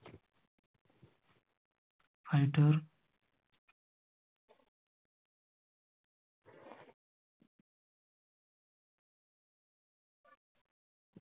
fighter.